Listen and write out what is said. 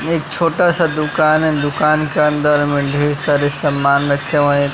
यह एक छोटा सा दुकान है दुकान के अंदर में ढेर सारे सामान रखे हुए--